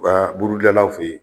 Waa buru dilanlaw fe ye